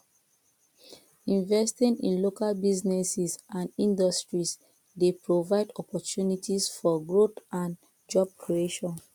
investing in local businesses and industries dey provide opportunties for growth and job creation